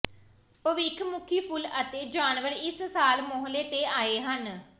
ਭਵਿੱਖਮੁਖੀ ਫੁੱਲ ਅਤੇ ਜਾਨਵਰ ਇਸ ਸਾਲ ਮੋਹਲੇ ਤੇ ਆਏ ਹਨ